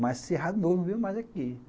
Mas se errar de novo, não venho mais aqui.